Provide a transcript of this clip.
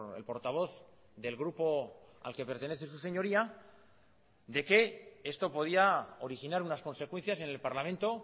el portavoz del grupo al que pertenece su señoría de que esto podía originar unas consecuencias en el parlamento